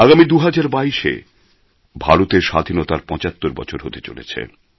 আগামী ২০২২ এ ভারতের স্বাধীনতার পঁচাত্তর বছর হতে চলেছে